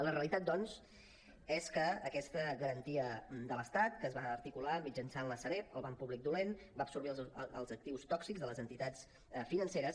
la realitat doncs és que aquesta garantia de l’estat que es va articular mitjançant la sareb el banc públic dolent va absorbir els actius tòxics de les entitats financeres